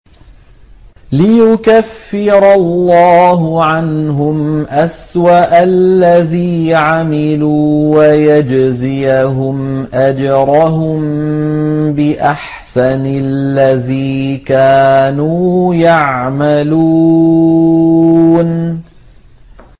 لِيُكَفِّرَ اللَّهُ عَنْهُمْ أَسْوَأَ الَّذِي عَمِلُوا وَيَجْزِيَهُمْ أَجْرَهُم بِأَحْسَنِ الَّذِي كَانُوا يَعْمَلُونَ